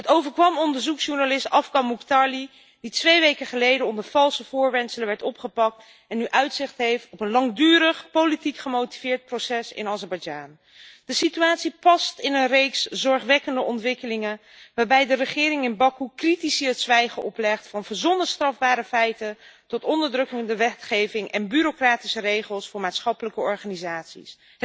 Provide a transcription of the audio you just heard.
Het overkwam onderzoeksjournalist Afgan Mukhtarli, die 2 weken geleden onder valse voorwendselen werd opgepakt en nu uitzicht heeft op een langdurig politiek gemotiveerd proces in Azerbeidzjan. De situatie past in een reeks zorgwekkende ontwikkelingen, waarbij de regering in Bakoe critici het zwijgen oplegt, van verzonnen strafbare feiten tot onderdrukkende wetgeving en bureaucratische regels voor maatschappelijke organisaties.